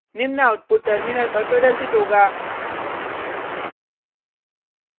निम्न output terminal पर प्रदर्शित होगा